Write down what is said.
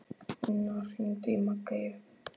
Inna, hringdu í Maggeyju.